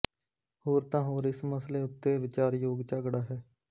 ਹੋਰ ਤਾਂ ਹੋਰ ਇਸ ਮਸਲੇ ਉੱਤੇ ਵਿਚਾਰਯੋਗ ਝਗੜਾ ਹੈ